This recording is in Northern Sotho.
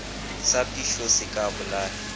sa phišo se ka bolaya